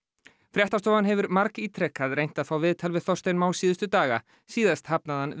fréttastofan hefur margítrekað reynt að fá viðtal við Þorstein Má síðustu daga síðast hafnaði hann